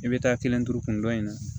I bɛ taa kelen turu kundɔn in na